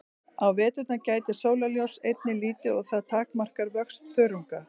Á veturna gætir sólarljóss einnig lítið og það takmarkar vöxt þörunga.